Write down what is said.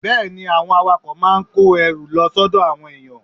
Bẹ́ẹ̀ ni, àwọn awakọ̀ máa ń kó ẹrù lọ sọ́dọ̀ àwọn èèyàn